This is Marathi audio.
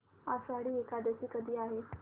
आषाढी एकादशी कधी आहे